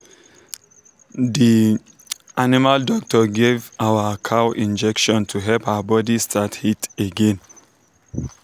the animal doctor give our cow injection to help her body start heat again.